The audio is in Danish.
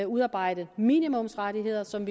udarbejdet minimumsrettigheder som